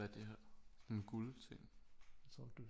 Hvad er det her sådan en guld ting